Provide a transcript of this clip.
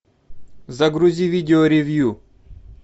загрузи видео ревью